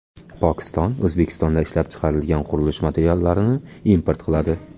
Pokiston O‘zbekistonda ishlab chiqarilgan qurilish materiallarini import qiladi.